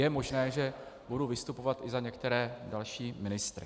Je možné, že budu vystupovat i za některé další ministry.